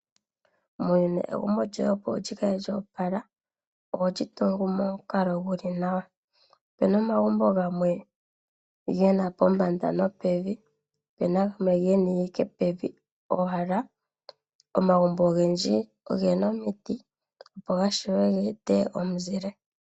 Muuyuni egumbo lyoye opo lyikale lyoopala oholi tungu momukalo guli nawa. Opena omagumbo game gena pombanda nopevi opuna omagumbo gamwe gena ike pevi owala. omagumbo ogendji ogena omiti opo gashiwe geete omuzile.